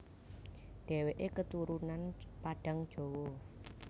Dheweke keturunan Padang Jawa